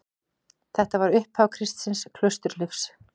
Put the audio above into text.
Þetta var upphaf kristins klausturlífs.